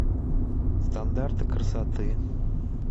стандарты красоты